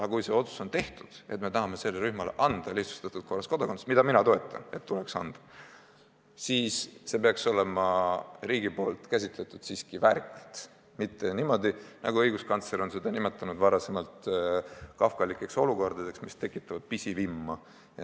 Aga kui see otsus on tehtud, et me tahame sellele rühmale anda lihtsustatud korras kodakondsuse – ja mina seda toetan, tuleks tõesti anda –, siis see peaks olema riigi poolt lahendatud siiski väärikalt, mitte niimoodi, et tekib, nagu õiguskantsler on neid olukordi varem nimetanud, kafkalik olukord, mis tekitab pisivimma.